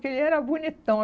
Que ele era bonitão.